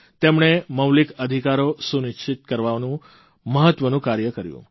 તેમણે મૌલિક અધિકારો સુનિશ્ચિત કરવાનું મહત્વનું કાર્ય કર્યું